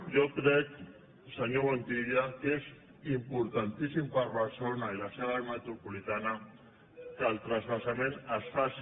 jo crec senyor montilla que és importantíssim per a barcelona i la seva àrea metropolitana que el transvasament es faci